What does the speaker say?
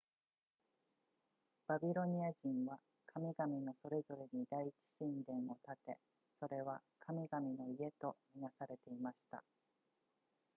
バビロニア人は神々のそれぞれに第一神殿を建てそれは神々の家とみなされていました